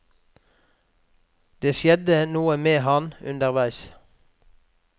Det skjedde noe med ham underveis.